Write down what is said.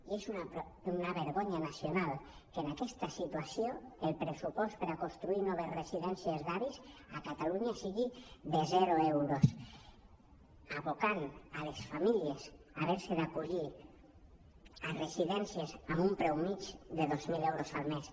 i és una vergonya nacional que en aquesta situació el pressupost per construir noves residències d’avis a catalunya sigui de zero euros abocant les famílies a ha·ver·se d’acollir a residències amb un preu mitjà de dos mil euros al mes